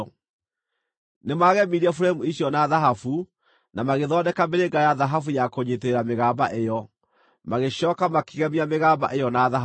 Nĩmagemirie buremu icio na thahabu, na magĩthondeka mĩrĩnga ya thahabu ya kũnyiitĩrĩra mĩgamba ĩyo. Magĩcooka makĩgemia mĩgamba ĩyo na thahabu.